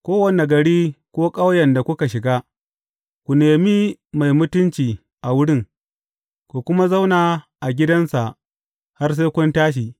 Kowane gari ko ƙauyen da kuka shiga, ku nemi mai mutunci a wurin, ku kuma zauna a gidansa har sai kun tashi.